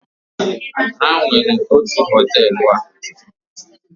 ha nwere otu hoteelu a